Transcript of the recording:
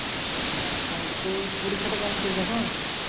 হ্যাঁ তা তর পরীক্ষাটা কেমন চলছে এখন?